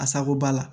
A sago ba la